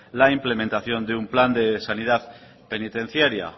la implementación de un plan de sanidad penitenciaria